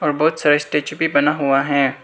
और बहुत सारे स्टेच्यू भी बना हुआ है।